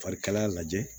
Farikalaya lajɛ